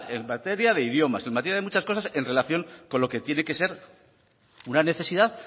en materia de idiomas en materia de muchas cosas en relación con lo que tiene que ser una necesidad